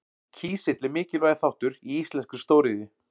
Kísill er mikilvægur þáttur í íslenskri stóriðju.